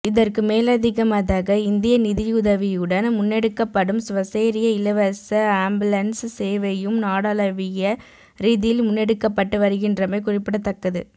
இதற்கு மேலதிகமதக இந்திய நிதியுதவியுடன் முன்னெடுக்கப்படும் சுவசெரிய இலவச அம்புலன்ஸ் சேவையும் நாடாளவிய ரீதியில் முன்னெடுக்கப்பட்டு வருகின்றமை குறிப்பிடத்ததக்கது